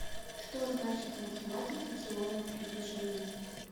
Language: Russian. что значит в математике теория приближений